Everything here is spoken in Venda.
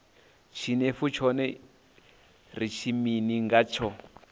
tshinefu tshone ri ri mini ngatsho